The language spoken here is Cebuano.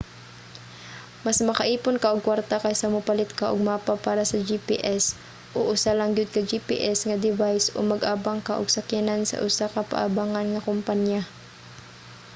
mas maka-ipon ka og kwarta kaysa mopalit ka og mapa para sa gps o usa lang gyud ka gps nga device o mag-abang ka og sakyanan sa usa ka paabangan nga kompanya